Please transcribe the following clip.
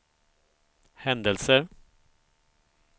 händelser